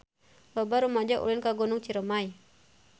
Loba rumaja ulin ka Gunung Ciremay